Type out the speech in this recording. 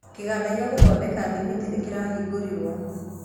Kĩganda gĩa gũthondeka thimiti nĩkĩrahingũrirwo